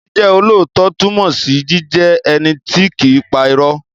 Jíjẹ́ olóòótọ́ túnmọ̀ sí jíjẹ́ ẹni tí kìí pa irọ́.